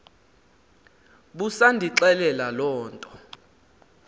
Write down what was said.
busandixelela loo nto